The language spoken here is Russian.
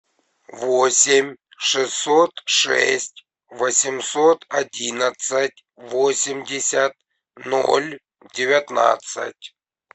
восемь шестьсот шесть восемьсот одиннадцать восемьдесят ноль девятнадцать